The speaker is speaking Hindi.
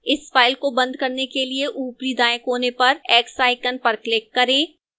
इस फ़ाइल को बंद करने के लिए ऊपरी दाएं कोने पर x icon पर click करें